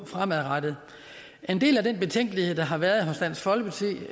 fremadrettet en del af den betænkelighed der har været hos dansk folkeparti vi